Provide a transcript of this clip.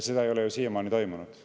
Seda ei ole ju siiamaani toimunud.